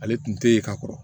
Ale tun tɛ yen ka kɔrɔ